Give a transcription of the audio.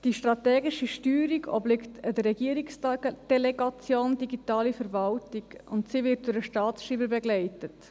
Die strategische Steuerung obliegt der Regierungsdelegation Digitale Verwaltung, und sie wird vom Staatsschreiber begleitet.